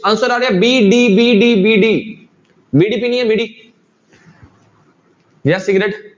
Answer ਆ ਰਿਹਾ b, d, b, d, b, d ਬੀੜੀ ਪੀਣੀ ਹੈ ਬੀੜੀ ਜਾਂਂ ਸਿਗਰਟ।